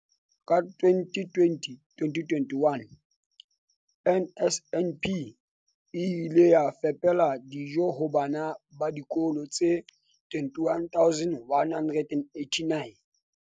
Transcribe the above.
Ka 2020-21, NSNP e ile ya fepela dijo ho bana ba dikolo tse 21 189.